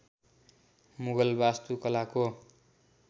मुगल वास्तुकलाको